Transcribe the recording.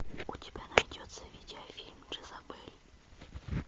ы